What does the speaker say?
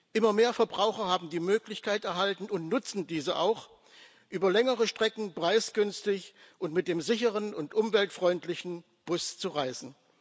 Immer mehr Verbraucher haben die Möglichkeit erhalten und nutzen diese auch, über längere Strecken preisgünstig und mit dem sicheren und umweltfreundlichen Bus zu reisen.